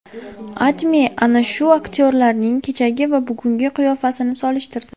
AdMe ana shu aktyorlarning kechagi va bugungi qiyofasini solishtirdi .